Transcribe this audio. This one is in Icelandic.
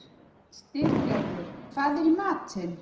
Styrgerður, hvað er í matinn?